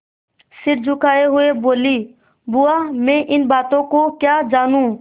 सिर झुकाये हुए बोलीबुआ मैं इन बातों को क्या जानूँ